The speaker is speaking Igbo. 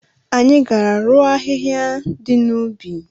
Anyị gara rụọ ahịhịa dị n'ubi.